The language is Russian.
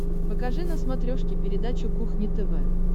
покажи на смотрешке передачу кухня тв